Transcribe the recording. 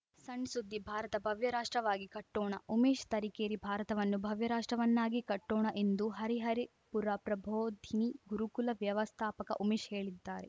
ಸಣ್‌ ಸುದ್ದಿ ಭಾರತ ಭವ್ಯ ರಾಷ್ಟ್ರವಾಗಿ ಕಟ್ಟೋಣ ಉಮೇಶ್‌ ತರೀಕೆರೆ ಭಾರತವನ್ನು ಭವ್ಯ ರಾಷ್ಟ್ರವನ್ನಾಗಿ ಕಟ್ಟೋಣ ಎಂದು ಹರಿಹರಿಪುರ ಪ್ರಭೋಧಿನಿ ಗುರುಕುಲ ವ್ಯವಸ್ಥಾಪಕ ಉಮೇಶ್‌ ಹೇಳಿದ್ದಾರೆ